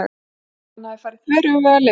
Hann hafði farið þveröfuga leið.